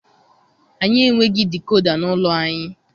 Anyị enweghị dikoda n'ụlọ anyị.